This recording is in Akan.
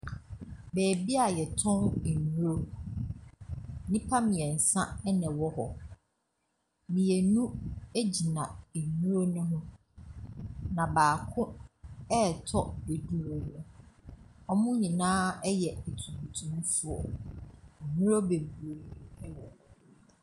Baabi a wɔtɔn nnuro. Nnipa mmeɛnsa na wɔwɔ hɔ. Mmienu gyina nnuro no ho. Na baako retɔ aduro no. wɔn nyinaa yɛ atuntumfoɔ. Nnuro bebree wɔ hɔ.